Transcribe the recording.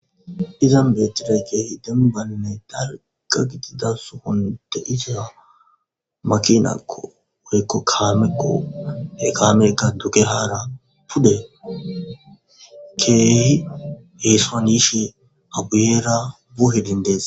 Izan beettidey keehi demmbane daliga gidida sohon deiza makinakko worikko kaameko hekameka dugehaara pude keehi heesoan yiishen aguyera buhe dindees.